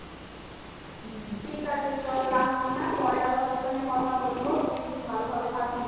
ঠিক আছে চল রাখছি হ্যাঁ পরে আবার তোর সঙ্গে কথা বলবো তুই ভালো ভাবে থকিস।